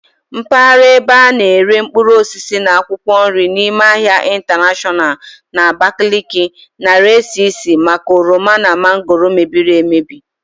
Mpagara ebe ana ere mkpuruosisi na akwụkwọ nri n'ime ahia intanashọnal na Abakaliki narii esi isi maka oroma na mangooro mebiri emebi.